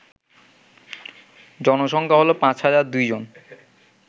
জনসংখ্যা হল ৫০০২ জন